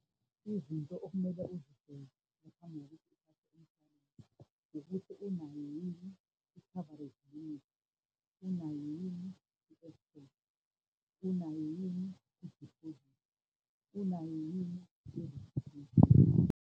Izinto okumele uzibheke ngaphambi kokuthi uthathe umshwalense, ukuthi unayo yini i-coverage limit, unayo yini unayo yini idiphozithi, unayo yini i-registration .